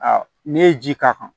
ne ye ji k'a kan